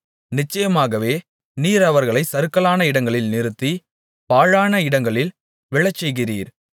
நிச்சயமாகவே நீர் அவர்களைச் சறுக்கலான இடங்களில் நிறுத்தி பாழான இடங்களில் விழச்செய்கிறீர்